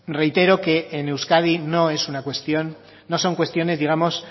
reitero que en euskadi no es una cuestión no son cuestiones digamos